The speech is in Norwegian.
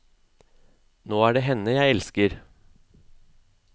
Nå er det henne jeg elsker.